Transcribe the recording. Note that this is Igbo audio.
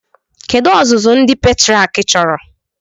Kedu ọzụzụ ndị pètrịàk chọrọ